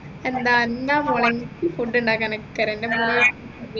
എന്താ എന്താ മോളേ എനിക്ക് food ഉണ്ടാക്കാനൊക്കെ അറിയാം